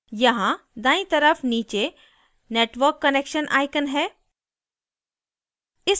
यहाँ दायीं तरफ नीचे network connection icon है